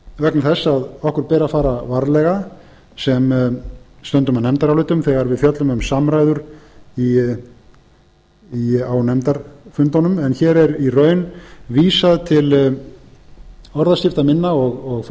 vegna þess að okkur ber að fara varlega sem stöndum að nefndarálitum þegar við fjöllum um samræður á nefndarfundunum en hér er í raun vísað til orðaskipta minna og